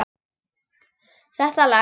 Þetta lagast.